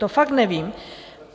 To fakt nevím.